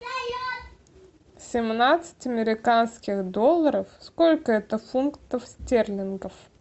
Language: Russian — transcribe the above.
семнадцать американских долларов сколько это фунтов стерлингов